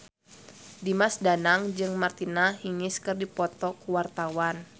Dimas Danang jeung Martina Hingis keur dipoto ku wartawan